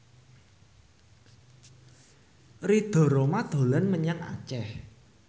Ridho Roma dolan menyang Aceh